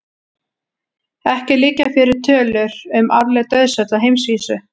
Ekki liggja fyrir tölur um árleg dauðsföll á heimsvísu.